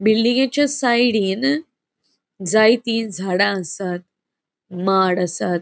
बिल्डिंगेच्या साइडीन जायति झाडा आसात. माड आसात.